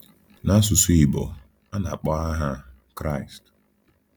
N’asụsụ Igbo, a na -akpọ aha a “Kraịst .”